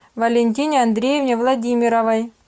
валентине андреевне владимировой